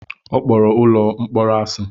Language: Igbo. Ọ kpọrọ ụlọ mkpọrọ asị.